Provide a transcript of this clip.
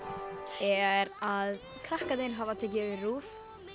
er að krakkarnir hafa tekið yfir RÚV